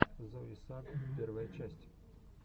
зои сагг первая часть